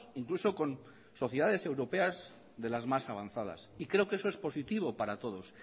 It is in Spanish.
incluso con sociedades europeas de las más avanzadas y creo que eso es positivo para todos